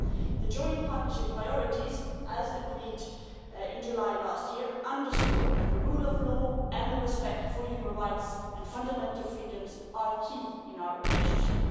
The joint partnership priorities, as agreed in July last year, underscore that the rule of law and respect for human rights and fundamental freedoms are key in our relationship.